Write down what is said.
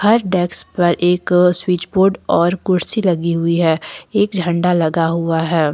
हर desks पर एक switch board और कुर्सी लगी हुई है एक झंडा लगा हुआ है।